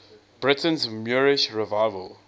britain's moorish revival